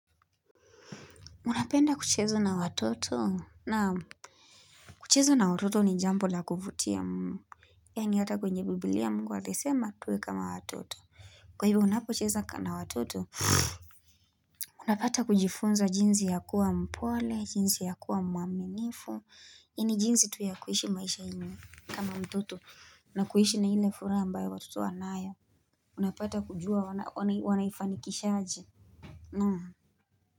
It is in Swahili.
Unapenda kucheza na watoto naam kucheza na watoto ni jambo la kuvutia mmh yaa ni hata kwenye biblia mungu alisema tuwe kama watoto kwa hivyo unapochezo ka na watoto unapata kujifunza jinzi ya kuwa mpole jinsi ya kuwa mwaminifu ni jinsi tu ya kuishi maisha yenye kama mtoto na kuishi na ile furaha ambayo watoto wanayo unapata kujua wana wanai wanaifanikishaje naam.